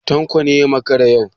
Tanko ne ya makara yau?